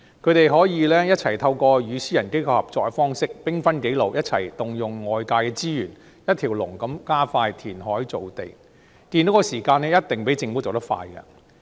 它們可以透過與私營機構合作的方式，兵分幾路，一起動用外界的資源，一條龍地加快填海造地，建屋的時間一定較政府做得快。